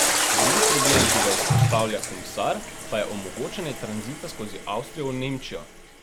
Drugi problem, ki ga izpostavlja komisar, pa je omogočanje tranzita skozi Avstrijo v Nemčijo.